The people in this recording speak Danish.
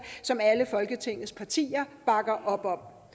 som alle folketingets partier bakker op om